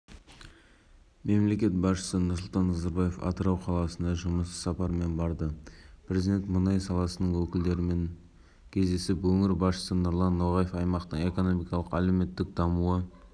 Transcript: млрд газ өндіру жоспарлануда келесі жылдары жылына млн тонна мұнай және млрд газға дейін өндіруді